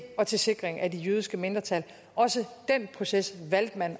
og til sikring af det jødiske mindretal også den proces valgte man